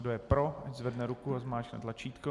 Kdo je pro, ať zvedne ruku a zmáčkne tlačítko.